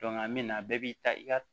a mina bɛɛ b'i ta i ka